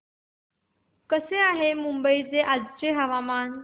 कसे आहे मुंबई चे आजचे हवामान